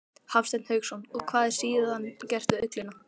Hafsteinn Hauksson: Og hvað er síðan gert við ullina?